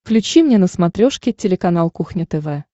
включи мне на смотрешке телеканал кухня тв